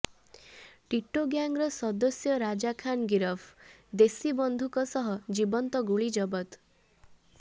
ଟିଟୋ ଗ୍ୟାଙ୍ଗର ସଦସ୍ୟ ରାଜା ଖାନ୍ ଗିରଫ ଦେଶୀ ବନ୍ଧୁକ ସହ ଜୀବନ୍ତ ଗୁଳି ଜବତ